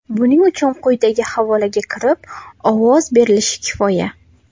Buning uchun quyidagi havolaga kirib, ovoz berilishi kifoya.